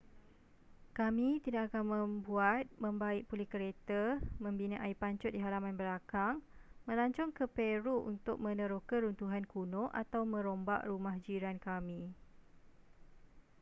kami tidak akan membuat membaik pulih kereta membina air pancut di halaman belakang melancong ke peru untuk meneroka runtuhan kuno atau merombak rumah jiran kami